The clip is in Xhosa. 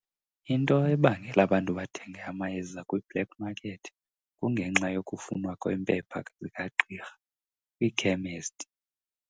Into ebangela abantu bathenge amayeza kwi-black market kungenxa yokufunwa kweempepha zikagqirha kwiikhemesti.